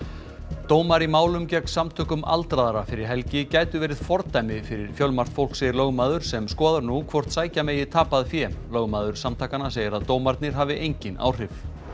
dómar í málum gegn Samtökum aldraðra fyrir helgi gætu verið fordæmi fyrir fjölmargt fólk segir lögmaður sem skoðar nú hvort sækja megi tapað fé lögmaður samtakanna segir að dómarnir hafi engin áhrif